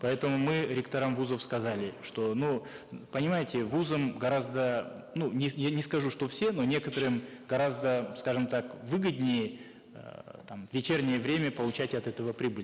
поэтому мы ректорам вузов сказали что ну понимаете вузам гораздо ну не я не скажу что все но некоторым гораздо скажем так выгоднее эээ там в вечернее время получать от этого прибыль